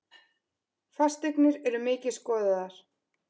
Fasteignir eru mikið skoðaðar